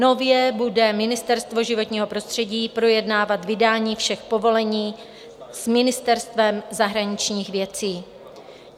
Nově bude Ministerstvo životního prostředí projednávat vydání všech povolení s Ministerstvem zahraničních věcí.